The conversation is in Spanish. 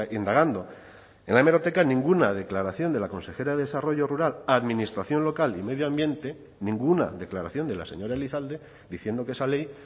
indagando en la hemeroteca ninguna declaración de la consejera de desarrollo rural administración local y medio ambiente ninguna declaración de la señora elizalde diciendo que esa ley